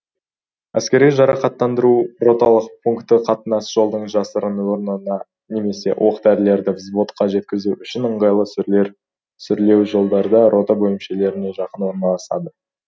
әскери жарақтандыру роталық пункті қатынас жолдың жасырын орнына немесе оқ дәрілерді взводқа жеткізу үшін ыңғайлы сүрлеу жолдарда рота бөлімшелеріне жақын орналасады